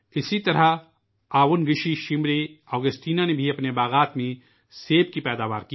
اسی طرح آوُنگ شی شمرے اوگسٹینا نے بھی اپنے باغوں میں سیب کی پیداوار کی